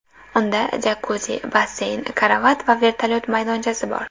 Unda jakuzi, basseyn, karavot va vertolyot maydonchasi bor.